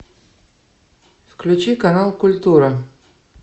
включи канал культура